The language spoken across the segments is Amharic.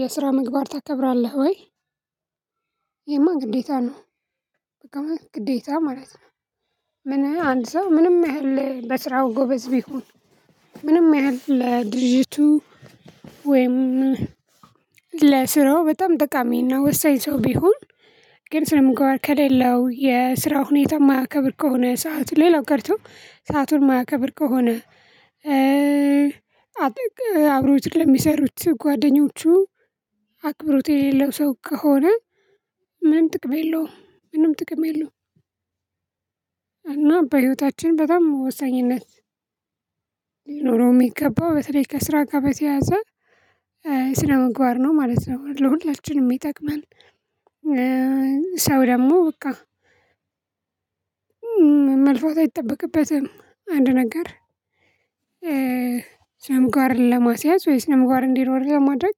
የስራ ምግባር ታከብራለህ ወይ? ይሄማ ግዴታ ነው በቃ ግዴታ ማለት ነው። ምን አንድ ሰው ምንም ያህል በስራው ጎበዝ ቢሆን። ምንም ያህል ለድርጅቱ ወይም ለስራው በጣም ጠቃሚ እና ወሳኝ ሰው ቢሆን። ግን ስነምግባር ከሌለው የስራው ሁኔታ የማያከብር ከሆነ ሰዓት ሌላው ቀርቶ ሰአቱን ማያከብር ከሆነ። አጥቅ አብረውት ለሚሰሩት ጓደኞቹ አክብሮት የሌለው ሰው ከሆነ። ምንም ጥቅም የለውም ምንም ጥቅም የለውም። እና በህይወታችን በጣም ወሳኝነት ሊኖረው የሚገባው በተለይ ከስራ ጋር በተያያዘ ስነምግባር ነው ማለት ነው ለሁላችንም የሚጠቅመን። ሰው ደግሞ በቃ መልፋት አይጠበቅበትም አንድ ነገር። ስነምግባርን ለማስያዝ ወይስ ስነምግባር እንዲኖር ለማድረግ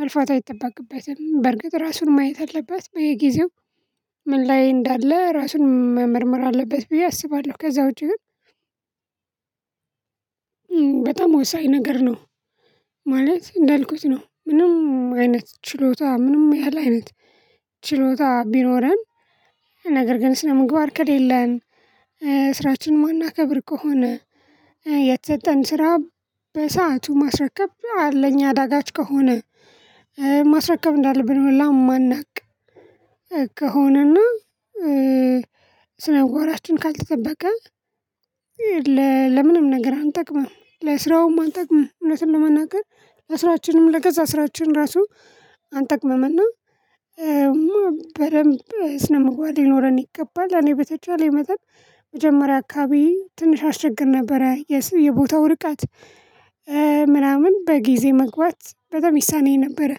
መልፋት አይጠበቅበትም። በርግጥ ራሱን ማየት አለባት በየጊዜው ምን ላይ እንዳለ ራሱን መመርመር አለበት ብዬ አስባለሁ። ከዛ ውጪ ግን በጣም ወሳኝ ነገር ነው። ማለት እንዳልኩት ነው። ምንም አይነት ችሎታ ምንም ያህል አይነት ችሎታ ቢኖረን። ነገር ግን ስነምግባር ከሌለን ስራችንን የማናከብር ከሆነ። የተሰጠን ስራ በሰአቱ ማስረከብ ለኛ አዳጋች ከሆነ። ማስረከብ እንዳለብን ሁላ የማናውቅ ከሆነና ስነምግባራችን ካልተጠበቀ። ለምንም ነገር አንጠቅምም ለስራውም አንጠቅምም እውነቱን ለመናገር ለስራችንም ለገዛ ስራችን ራሱ አንጠቅምም እና። ስነምግባር ሊኖረን ይገባል። እኔ በተቻለኝ መጠን መጀመሪያ አካባቢ ትንሽ አስቸግር ነበረ የቦታው ርቀት ምናምን በጊዜ መግባት በጣም ይሳነኝ ነበረ።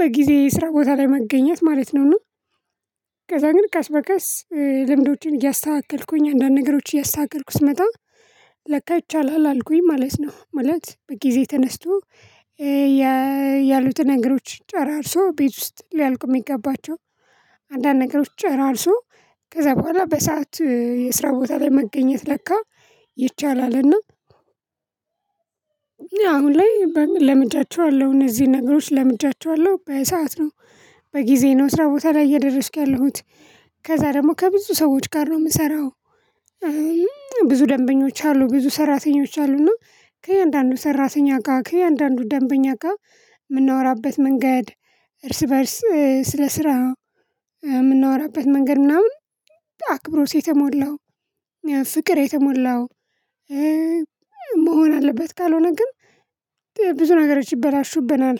በጊዜ ስራ ቦታ ላይ መገኘት ማለት ነው። እና ከዛ ግን ቀስ በቀስ ልምዶችን እያስተካከልኩኝ አንዳንድ ነገሮች እያስተካከልኩ ስመጣ ለካ ይቻላል አልኩኝ ማለት ነው። ማለት በጊዜ ተነስቶ ያሉትን ነገሮች ጨራርሶ ቤት ውስጥ ሊያልቁ የሚገባቸው አንዳንድ ነገሮች ጨራርሶ ከዛ በኋላ በሰአት የስራ ቦታ ላይ መገኘት ለካ ይቻላልና። አሁን ላይ ለምጃቸዋለሁ እነዚህ ነገሮች ለምጃቸዋለሁ በሰአት ነው። በጊዜው ነው ስራ ቦታ ላይ እየደረስኩ ያለሁት ከዛ ደግሞ ከብዙ ሰዎች ጋር ነው የምሰራው። ብዙ ደንበኞች አሉ ብዙ ሰራተኞች አሉ። እና ከእያንዳንዱ ሰራተኛ ጋር ከእያንዳንዱ ደንበኛ ጋር የምናወራበት መንገድ እርስ በእርስ ስለ ስራ የምናወራበት መንገድ ምናምን አክብሮት የተሞላው ፍቅር የተሞላው መሆን አለበት ካልሆነ ግን ብዙ ነገሮች ይበላሹብናል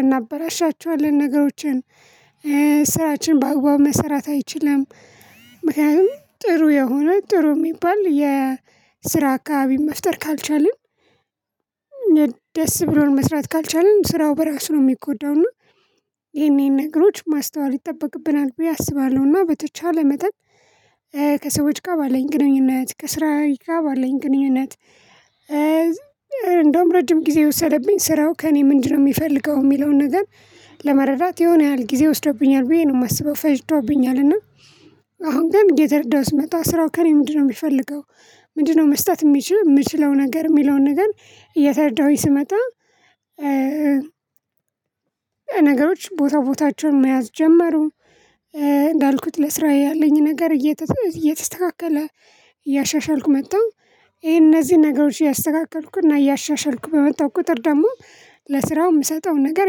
እናበላሻቸዋለን ነገሮችን ስራችን በአግባቡ መሰራት አይችልም። ምክንያቱም ጥሩ የሆነ ጥሩ የሚባል የስራ አካባቢ መፍጠር ካልቻልን። ደስ ብሎን መስራት ካልቻልን ስራው በራሱ ነው የሚጎዳው እና ይሄን ይሄን ነገሮች ማስተዋል ይጠበቅብናል። ብዬ አስባለሁና በተቻለ መጠን ከሰዎች ጋር ባለኝ ግንኙነት ከስራዬ ጋር ባለኝ ግንኙነት። እንደውም ረጅም ጊዜ የወሰደብኝ ስራው ከእኔ ምንድነው የሚፈልገው የሚለውን ነገር። ለመረዳት የሆነ ያህል ጊዜ ወስዶብኛል ብዬ ነው የማስበው። ፈጅቶብኛል እና አሁን ግን እየተረዳሁ ስመጣ ስራው ከእኔ ምንድነው የሚፈልገው ምንድነው መስጠት የሚችል የምችለው ነገር የሚለውን ነገር እየተረዳሁኝ ስመጣ። ነገሮች ቦታ ቦታቸውን መያዝ ጀመሩ። እንዳልኩት ለስራ ያለኝ ነገር እየተስተካከለ እያሻሻልኩ መጣሁ። ይሄ እነዚህን ነገሮች እያስተካከልኩና እያሻሻልኩ በመጣሁ ቁጥር ደግሞ ለስራው የምሰጠው ነገር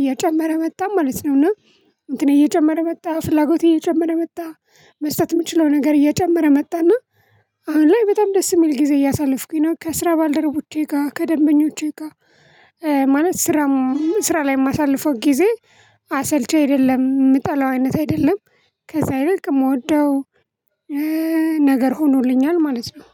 እየጨመረ መጣ ማለት ነው። እና እንትን እየጨመረ መጣ ፍላጎት እየጨመረ መጣ። መስጠት የምችለው ነገር እየጨመረ መጣና። አሁን ላይ በጣም ደስ የሚል ጊዜ እያሳለፍኩኝ ነው ከስራ ባልደረቦቼ ጋር ከደንበኞቼ ጋር። ማለት ስራም ስራ ላይ የማሳልፈውን ጊዜ አሰልቺ አይደለም የምጠላው አይነት አይደለም። ከዛ ይልቅ የምወደው ነገር ሆኖልኛል ማለት ነው